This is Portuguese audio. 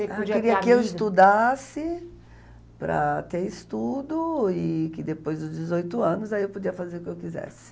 Ela queria que eu estudasse para ter estudo e que depois dos dezoito anos eu podia fazer o que que eu quisesse.